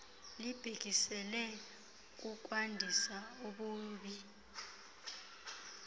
libhekiselele kukwandisa ububi